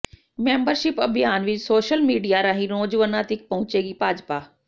membership ਅਭਿਆਨ ਵਿਚ social media ਰਾਹੀਂ ਨੌਜਵਾਨਾਂ ਤੀਕ ਪਹੁੰਚੇਗੀ ਭਾਜਪਾ